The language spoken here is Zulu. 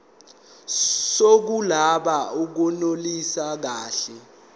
zokuloba akunelisi kahle